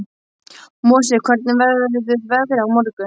Mosi, hvernig verður veðrið á morgun?